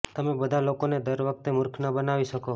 તમે બધા લોકોને દર વખતે મુરખ ન બનાવી શકો